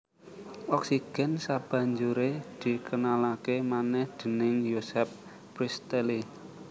Oksigen sabanjuré dikenalaké manèh déning Joseph Priestley